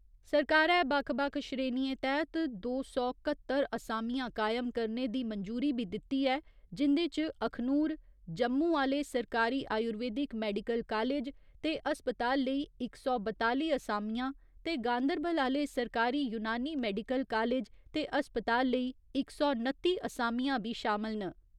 सरकारै बक्ख बक्ख श्रेणिएं तैह्त दो सौ घह्त्तर असामियां कायम करने दी मंजूरी बी दित्ती ऐ जिंदे च अखनूर, जम्मू आह्‌ले सरकारी आयुर्वेदिक मैडिकल कालेज ते अस्पताल लेई इक सौ बताली असामियां ते गांदरबल आह्‌ले सरकारी यूनानी मैडिकल कालेज ते अस्पताल लेई इक सौ नत्ती असामियां बी शामल न।